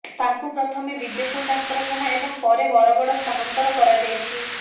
ତାଙ୍କୁ ପ୍ରଥମେ ବିଜେପୁର ଡାକ୍ତରଖାନା ଏବଂ ପରେ ବରଗଡ଼ ସ୍ଥାନାନ୍ତର କରାଯାଇଛି